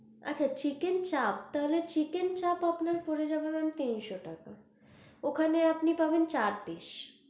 আচ্ছা chicken চাপ, তাহলে chicken চাপ আপনার পরে যাবে ma'am তিনশো টাকা ওখানে আপনি পাবেন চার। piece